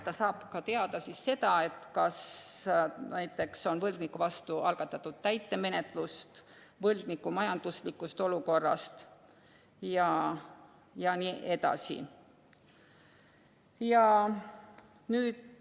Ta saab ka teada, kas näiteks on võlgniku vastu algatatud täitemenetlus, võlgniku majandusliku olukorra kohta jne.